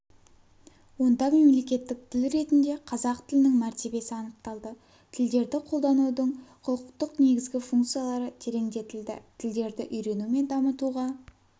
онда мемлекеттік тіл ретінде қазақ тілінің мәр сі анықталды тілдерді қолданудың құқықтық негізгі функциялары тереңдетілді тілдерді үйрену мен дамытуға